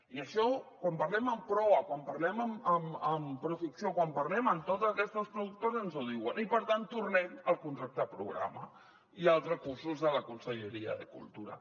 i això quan parlem amb proa quan parlem amb proficció quan parlem amb totes aquestes productores ens ho diuen i per tant tornem al contracte programa i als recursos de la conselleria de cultura